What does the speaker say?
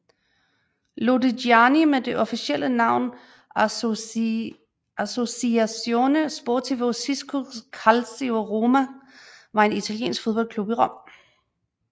Lodigiani med det officielle navn Associazione Sportivo Cisco Calcio Roma var en italiensk fodboldklub i Rom